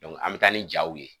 an bi taa ni jaw ye.